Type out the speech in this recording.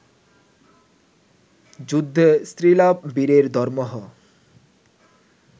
যুদ্ধে স্ত্রীলাভ বীরের ধর্মহ